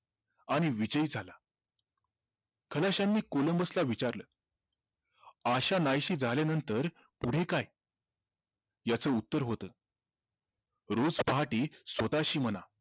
आणि विजयी झाला खलाशांनी कोलंबसला विचारलं आशा नाहीशी झाल्यानंतर पुढे काय याच उत्तर होतं रोज पहाटे स्वतःशी म्हणा